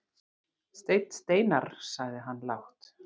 Steinn Steinarr, sagði hann lágt.